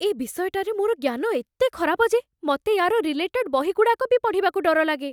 ଏ ବିଷୟଟାରେ ମୋର ଜ୍ଞାନ ଏତେ ଖରାପ ଯେ, ମତେ ୟା'ର ରିଲେଟେଡ ବହିଗୁଡ଼ାକ ବି ପଢ଼ିବାକୁ ଡର ଲାଗେ ।